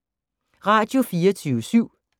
Radio24syv